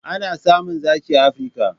Ana samun zaki a Afirka.